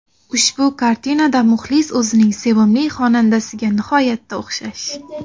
Ushbu kartinada muxlis o‘zining sevimli xonandasiga nihoyatda o‘xshash.